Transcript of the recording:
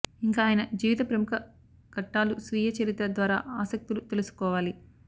ఇంక ఆయన జీవిత ప్రముఖ ఘట్టాలు స్వీయ చరిత్ర ద్వారా ఆసక్తులు తెలుసుకోవాలి